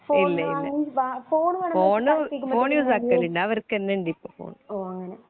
ഇല്ലേയില്ല phone phone യൂസാക്കലില്ല അവർക്കുന്നയുണ്ടു ഇപ്പോ ഫോൺ